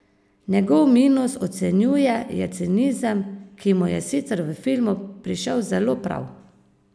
Njegov minus, ocenjuje, je cinizem, ki mu je sicer v filmu prišel zelo prav.